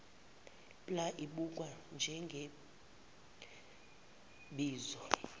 pla ibukwa njengebizo